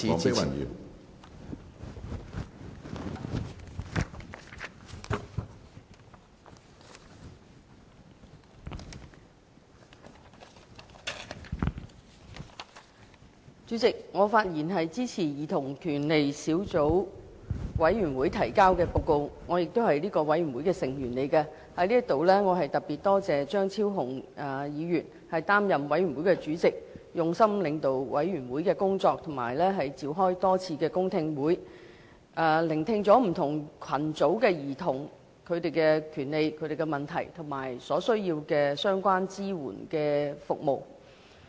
主席，我發言支持兒童權利小組委員會提交的報告，我亦是小組委員會的成員，在此我特別多謝張超雄議員擔任小組委員會的主席，用心領導小組委員會的工作和多次召開公聽會，聆聽不同群組兒童的權利、問題和所需要的相關支援服務。